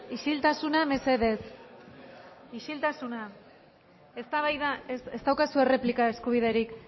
isiltasuna ez daukazue replika eskubiderik